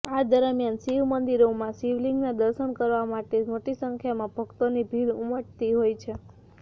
આ દરમિયાન શિવમંદિરોમાં શિવલિંગના દર્શન કરવા માટે મોટી સંખ્યામાં ભક્તોની ભીડ ઉમટતી હોય છે